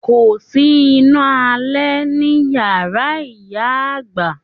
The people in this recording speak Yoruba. Kòsí iná alé ní iyàrá ìyá àgbà.